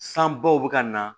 San baw bɛ ka na